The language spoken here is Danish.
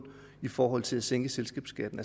i forhold til at sænke selskabsskatten